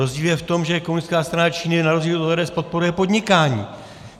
Rozdíl je v tom, že Komunistická strana Číny na rozdíl od ODS podporuje podnikání.